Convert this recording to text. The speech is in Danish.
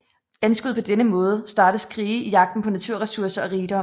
Anskuet på denne måde startes krige i jagten på naturressourcer og rigdom